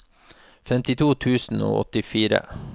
femtito tusen og åttifire